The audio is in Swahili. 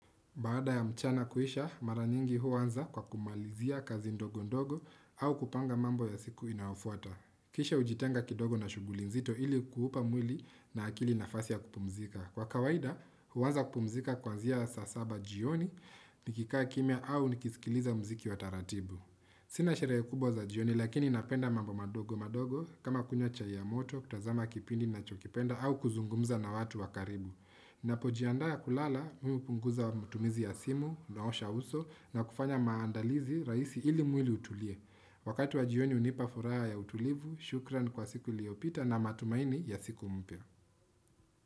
Baada ya mchana kuisha, mara nyingi huanza kwa kumalizia kazi ndogo ndogo au kupanga mambo ya siku inayofuata. Kisha ujitenga kidogo na shughuli nzito ili kuhupa mwili na akili nafasi ya kupumzika. Kwa kawaida, huanza kupumzika kwanzia ya saa saba jioni nikikaa kimya au nikisikiliza mziki wa taratibu. Sina sherehe kubwa za jioni lakini napenda mambo madogo madogo kama kunywa chai ya moto, kutazama kipindi ninachokipenda au kuzungumza na watu wa karibu. Ninapojiandaa kulala mimi hupunguza matumizi ya simu naosha uso na kufanya maandalizi rahisi ili mwili utulie. Wakati wa jioni hunipa furaha ya utulivu, shukran kwa siku iliyopita na matumaini ya siku mpya.